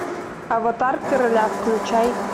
аватар короля включай